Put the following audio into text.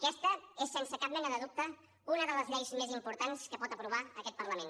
aquesta és sense cap mena de dubte una de les lleis més importants que pot aprovar aquest parlament